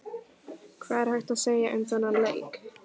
Hvað er hægt að segja um þennan leik?